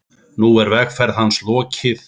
Nú er vegferð hans lokið.